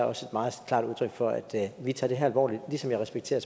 også et meget klart udtryk for at vi tager det her alvorligt ligesom jeg respekterer